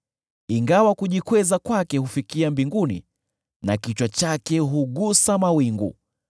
Ingawa kujikweza kwake hufikia mbinguni na kichwa chake hugusa mawingu,